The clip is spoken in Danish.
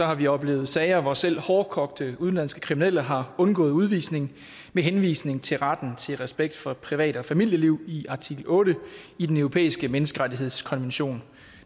har vi oplevet sager hvor selv hårdkogte udenlandske kriminelle har undgået udvisning med henvisning til retten til respekt for privat og familieliv i artikel otte i den europæiske menneskerettighedskonvention